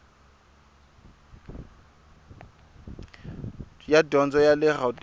ya dyondzo ya le gauteng